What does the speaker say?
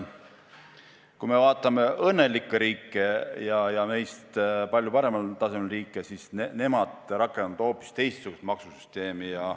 Kui me vaatame õnnelikke riike, meist palju paremal tasemel riike, siis näeme, et nemad rakendavad hoopis teistsugust maksusüsteemi.